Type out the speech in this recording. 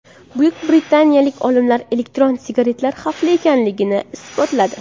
Buyuk britaniyalik olimlar elektron sigaretalar xavfli ekanligini isbotladi.